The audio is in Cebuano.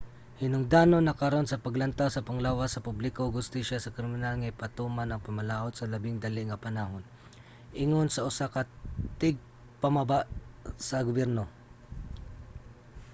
"hinungdanon na karon sa panglantaw sa panglawas sa publiko ug hustisya sa kriminal nga ipatuman ang pamalaod sa labing dali nga panahon ingon sa usa ka tigpamaba sa gobyerno